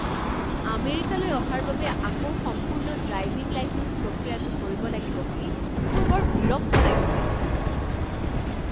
আমেৰিকালৈ অহাৰ বাবে আকৌ সম্পূৰ্ণ ড্ৰাইভিং লাইচেঞ্চ প্ৰক্ৰিয়াটো কৰিব লাগিব বুলি মোৰ বৰ বিৰক্ত লাগিছে।